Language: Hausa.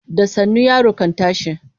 Da sannu yaro kan tashi.